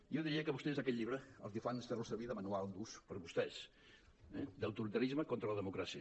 jo diria que vostès amb aquest llibre el que fan és fer·lo servir de manual d’ús per a vostès d’autoritarisme contra la democràcia